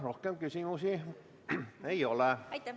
Rohkem küsimusi ei ole.